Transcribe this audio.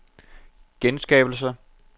genskabelse